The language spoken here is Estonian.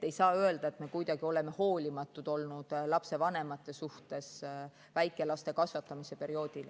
Ei saa öelda, et me oleksime kuidagi hoolimatud olnud lapsevanemate suhtes väikelaste kasvatamise perioodil.